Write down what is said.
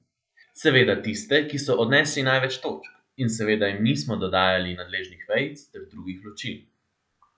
Seveda tiste, ki so odnesli največ točk, in seveda jim nismo dodajali nadležnih vejic ter drugih ločil.